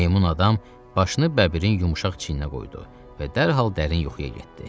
Meymun adam başını Bəbirin yumşaq çiyninə qoydu və dərhal dərin yuxuya getdi.